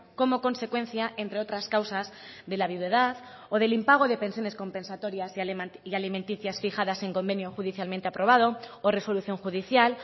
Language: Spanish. como consecuencia entre otras causas de la viudedad o del impago de pensiones compensatorias y alimenticias fijadas en convenio judicialmente aprobado o resolución judicial